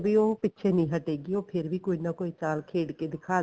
ਉਹ ਪਿਛੇ ਨੀਂ ਹਟੇਗੀ ਉਹ ਫੇਰ ਵੀ ਕੋਈ ਨਾ ਚਾਲ ਖੇਡ ਕੇ ਦਿਖਾਦੇਗੀ